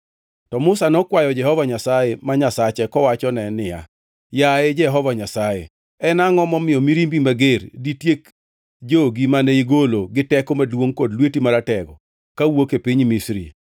To Musa nokwayo Jehova Nyasaye, ma Nyasache kowachone niya, “Yaye Jehova Nyasaye, en angʼo momiyo mirimbi mager ditiek jogi mane igolo gi teko maduongʼ kod lweti maratego kawuok e piny Misri?